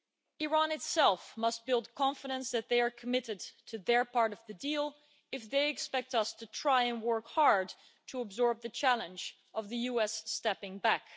Iran itself must build confidence that they are committed to their part of the deal if they expect us to try and work hard to absorb the challenge of the US stepping back.